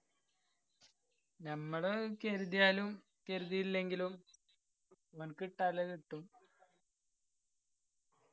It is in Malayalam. ഞമ്മള് കരുതിയാലും കരുതിയില്ലെങ്കിലും ഓന്ക് കിട്ടാനില്ലത് കിട്ടും